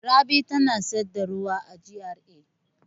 Rabi tana sayar da ruwa a GRA.